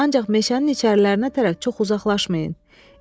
Ancaq meşənin içərilərinə tərəf çox uzaqlaşmayın.